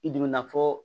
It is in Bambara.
I dun mi na fɔ